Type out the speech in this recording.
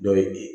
Dɔ ye